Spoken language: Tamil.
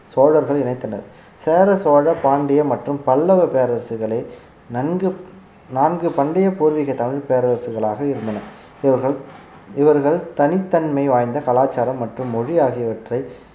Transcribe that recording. சோழர்கள் இணைத்தனர் சேர சோழ பாண்டிய மற்றும் பல்லவ பேரரசுகளை நன்கு நான்கு பண்டைய பூர்வீக தமிழ் பேரரசுகளாக இருந்தன இவர்கள் இவர்கள் தனித்தன்மை வாய்ந்த கலாச்சாரம் மற்றும் மொழி ஆகியவற்றை